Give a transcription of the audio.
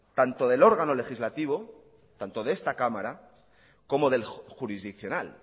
tanto del órgano legislativo tanto de esta cámara como del jurisdiccional